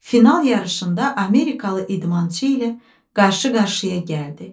Final yarışında Amerikalı idmançı ilə qarşı-qarşıya gəldi.